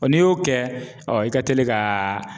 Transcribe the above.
n'i y'o kɛ i ka teli ka